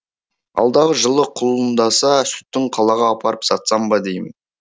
алдағы жылы құлындаса сүтін қалаға апарып сатсам ба деймін